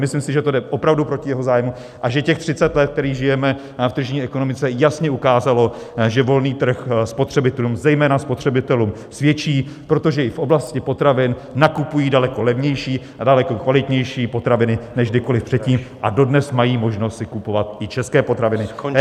Myslím si, že to jde opravdu proti jeho zájmu a že těch 30 let, které žijeme v tržní ekonomice, jasně ukázalo, že volný trh spotřebitelům, zejména spotřebitelům, svědčí, protože i v oblasti potravin nakupují daleko levnější a daleko kvalitnější potraviny než kdykoliv předtím a dodnes mají možnost si kupovat i české potraviny.